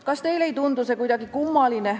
Kas teile ei tundu see kuidagi kummaline?